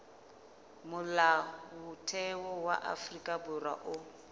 molaotheo wa afrika borwa o